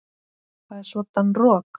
Það er svoddan rok.